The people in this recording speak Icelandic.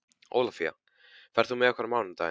Ólafía, ferð þú með okkur á mánudaginn?